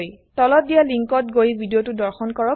তলত দিয়া লিংকত গৈ ভিডিওটো দৰ্শন কৰক